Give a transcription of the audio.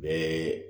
Bɛɛ